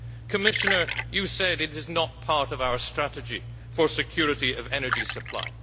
Commissioner, you said this is not part of our strategy for security of energy supply.